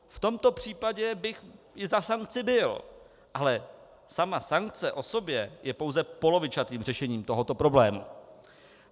V tomto případě bych i za sankci byl, ale sama sankce o sobě je pouze polovičatým řešením tohoto problému.